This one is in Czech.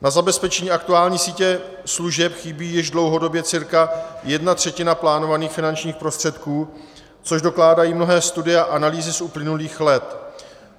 Na zabezpečení aktuální sítě služeb chybí již dlouhodobě cca jedna třetina plánovaných finančních prostředků, což dokládají mnohé studie a analýzy z uplynulých let.